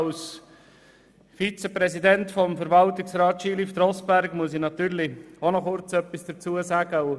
Als Vizepräsident des Verwaltungsrats Skilift Rossberg muss ich natürlich auch noch kurz etwas dazu sagen.